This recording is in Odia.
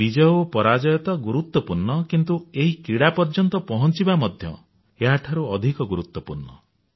ବିଜୟ ଓ ପରାଜୟ ତ ଗୁରୁତ୍ୱପୂର୍ଣ୍ଣ କିନ୍ତୁ ଏହି କ୍ରୀଡା ପର୍ଯ୍ୟନ୍ତ ପହଞ୍ଚିବା ମଧ୍ୟ ଏହାଠାରୁ ଅଧିକ ଗୁରୁତ୍ୱପୂର୍ଣ୍ଣ